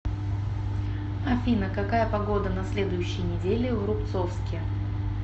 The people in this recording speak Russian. афина какая погода на следующей неделе в рубцовске